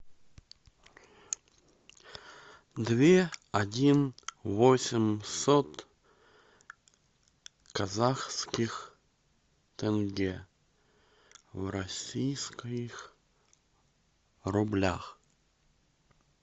две один восемьсот казахских тенге в российских рублях